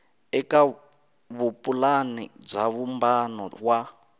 eka vupulani bya vumbano wa